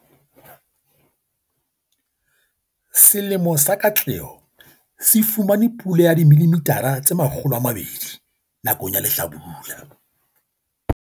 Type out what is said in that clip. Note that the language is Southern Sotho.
Selemo sa katleho se fumane pula ya 200 mm nakong ya lehlabula. Setshwantsho sa 3.